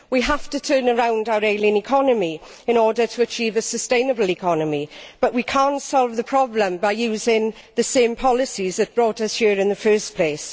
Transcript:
We have to turn round our ailing economy in order to achieve a sustainable economy, but we cannot solve the problem by using the same policies which brought us here in the first place.